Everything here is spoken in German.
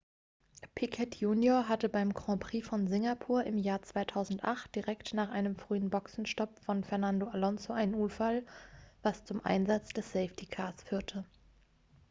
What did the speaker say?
piquet junior hatte beim grand prix von singapur im jahr 2008 direkt nach einem frühen boxenstopp von fernando alonso einen unfall was zum einsatz des safety cars führte